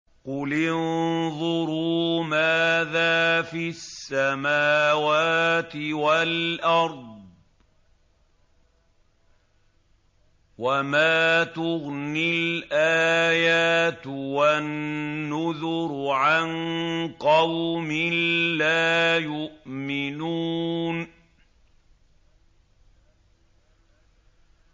قُلِ انظُرُوا مَاذَا فِي السَّمَاوَاتِ وَالْأَرْضِ ۚ وَمَا تُغْنِي الْآيَاتُ وَالنُّذُرُ عَن قَوْمٍ لَّا يُؤْمِنُونَ